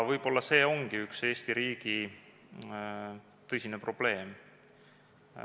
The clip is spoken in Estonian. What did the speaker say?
Võib-olla see ongi üks Eesti riigi tõsiseid probleeme.